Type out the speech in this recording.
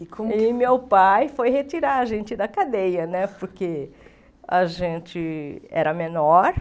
E como que E meu pai foi retirar a gente da cadeia né, porque a gente era menor.